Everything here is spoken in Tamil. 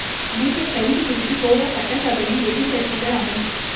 அமைச்சர் கைது குறித்து கோவா சட்டசபையில் எதிர்க்கட்சிகள் அமளி